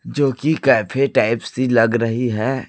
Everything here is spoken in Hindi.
जोकि कैफे टाइप सी लग रही है।